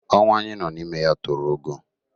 Ọnwa a anyị nọ n'ime ya toro ogo